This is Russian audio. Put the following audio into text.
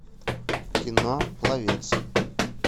кино пловец